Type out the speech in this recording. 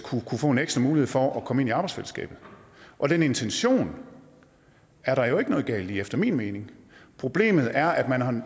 kunne få en ekstra mulighed for at komme ind i arbejdsfællesskabet og den intention er der jo ikke noget galt i efter min mening problemet er at man har